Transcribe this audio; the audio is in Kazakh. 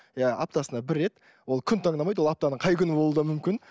иә аптасына бір рет ол күн таңдамайды ол аптаның қай күні де болуы мүмкін